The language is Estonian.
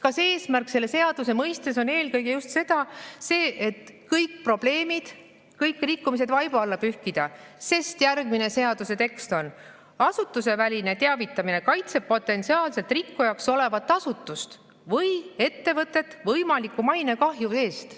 Kas eesmärk selle seaduse mõistes on eelkõige just see, et kõik probleemid, kõik rikkumised vaiba alla pühkida, sest järgmine seaduse tekst on, et asutuseväline teavitamine "kaitseb potentsiaalselt rikkujaks olevat asutust või ettevõtet võimaliku mainekahju eest".